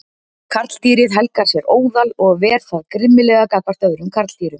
Karldýrið helgar sér óðal og ver það grimmilega gagnvart öðrum karldýrum.